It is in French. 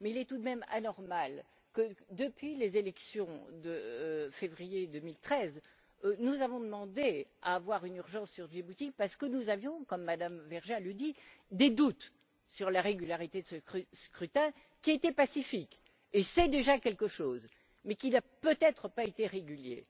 Mais il est tout de même anormal que, depuis les élections de février 2013, nous ayons demandé à avoir une urgence sur Djibouti parce que nous avions, comme le dit Mme Vergiat, des doutes sur la régularité de ce scrutin, qui a été pacifique et c'est déjà quelque chose, mais qui n'a peut être pas été régulier.